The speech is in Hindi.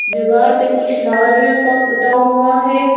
दीवार पे कुछ लाल रंग का पुता हुआ है।